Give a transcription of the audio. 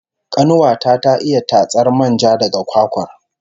Kanuwa ta ta iya tatsar manja daga kwakwar